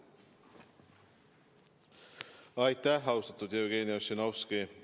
Aitäh, austatud Jevgeni Ossinovski!